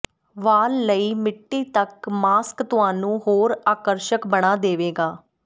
ਵਾਲ ਲਈ ਮਿੱਟੀ ਤੱਕ ਮਾਸਕ ਤੁਹਾਨੂੰ ਹੋਰ ਆਕਰਸ਼ਕ ਬਣਾ ਦੇਵੇਗਾ